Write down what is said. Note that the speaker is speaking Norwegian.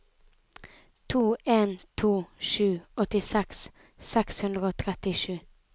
to en to sju åttiseks seks hundre og trettisju